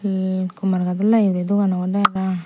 yet Kumarghat nahi ibey dogan obodey parapang.